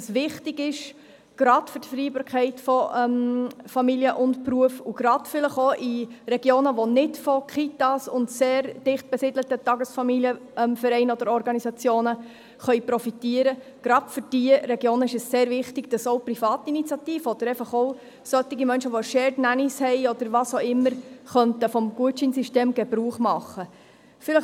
Gerade für die Vereinbarkeit von Familie und Beruf, und gerade vielleicht auch in Regionen, die nicht von Kitas und sehr dicht angesiedelten TFOs profitieren können, gerade für diese Regionen ist es sehr wichtig, dass auch Privatinitiativen oder auch Menschen, die «Shared Nannys» angestellt haben oder was auch immer, vom Gutscheinsystem Gebrauch machen könnten.